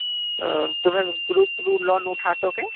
ତୁମେ group ରୁ loan ଉଠାସ କି